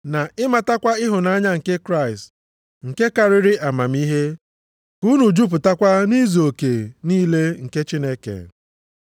na ịmatakwa ịhụnanya nke Kraịst nke karịrị amamihe, ka unu jupụtakwa nʼizuoke niile nke Chineke.